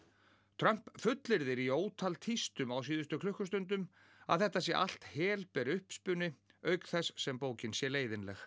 Trump fullyrðir í ótal á síðustu klukkustundum að þetta sé allt helber uppspuni auk þess sem bókin sé leiðinleg